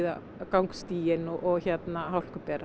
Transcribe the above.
gangstíginn og